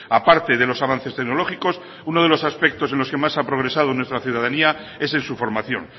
aparte de los avances tecnológicos uno de los aspectos en los que más ha progresado nuestra ciudadanía es en su formación